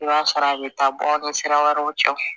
I b'a sɔrɔ a bɛ taa bɔ a ni sira wɛrɛw cɛ